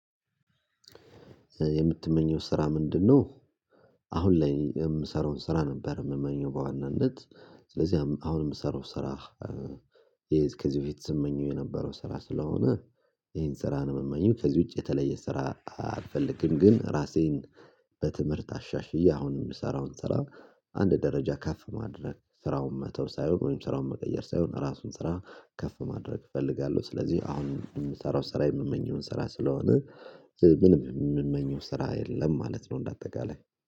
የምትመኘው ስራ ምንድነው? አሁን ላይ የምሰራውን ስራ ነበር የምመኘው በዋናነት ስለዚህ አሁን የሚሰራው ስራ። ከዚህ በፊት ስመኘው የነበረው ስራ ስለሆነ ይሄን ስራ ነው የምማኝም ከዚህ ውጪ የተለየ ስራ አልፈልግም። ግን ራሴን በትምህርት አሻሽዬ አሁን የምሰራውን ስራ አንድ ደረጃ ከፍ ማድረግ ስራውን መተው ሳይሆን ወይም ስራውን መቀየር ሳይሆን ራሱን ስራ ከፍ ማድረግ እፈልጋለሁ። ስለዚህ አሁን የምሰራው ስራ የምመኘውን ስራ ስለሆነ ምንም የሚመኘው ስራ የለም ማለት ነው። እንደ አጠቃላይ